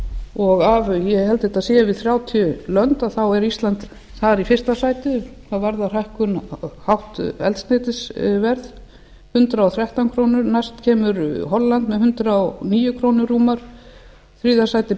og af ég held að þetta séu yfir þrjátíu lönd þá er ísland þar í fyrsta sæti hvað varðar hátt eldsneytisverð hundrað og þrettán krónu næst kemur holland með hundrað og níu krónur rúmar í þriðja sæti